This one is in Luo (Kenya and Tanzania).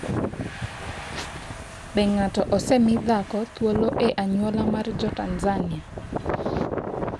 Be ng’ato osemi dhako thuolo e anyuola mar Jo-Tanzania?